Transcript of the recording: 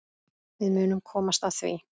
Við munum komast að því.